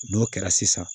N'o kɛra sisan